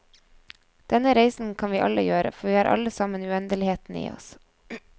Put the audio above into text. Denne reisen kan vi alle gjøre, for vi har alle sammen uendeligheten i oss.